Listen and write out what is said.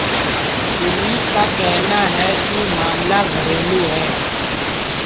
police का कहना है कि मामला घरेलू है